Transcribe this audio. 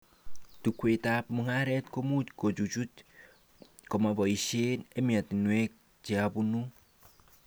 Chukwaitab mugaret komuch kechuchuch komaboishe ematinwek cheabanu